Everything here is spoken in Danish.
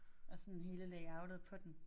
Og sådan hele layoutet på den